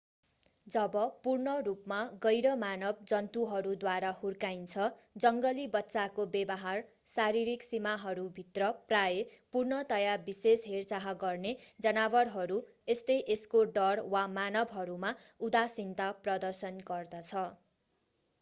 जब पूर्ण रूपमा गैर-मानव जन्तुहरूद्वारा हुर्काइन्छ जङ्गली बच्चाको व्यवहार शारीरिक सीमाहरू भित्र प्रायः पूर्णतया विशेष हेरचाह गर्ने जनावरहरू जस्तै यसको डर वा मानवहरूमा उदासीनता प्रदर्शन गर्दछ।